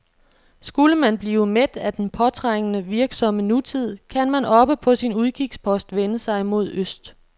Skulle man blive mæt af den påtrængende, virksomme nutid, kan man oppe på sin udkigspost vende sig mod øst.